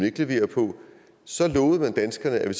ikke levere på så lovede de danskerne at